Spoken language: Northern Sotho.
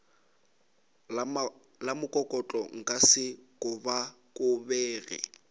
la mokokotlo nka se kobakobege